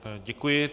Děkuji.